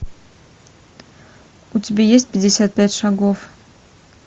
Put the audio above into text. у тебя есть пятьдесят пять шагов